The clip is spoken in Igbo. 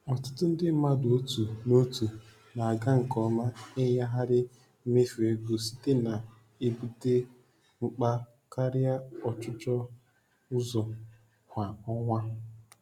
Ọtụtụ ndị mmadụ otu n'otu na-aga nke ọma ịnyagharị mmefu ego site na-ebute mkpa karịa ọchụchọ ụzọ kwa ọnwa.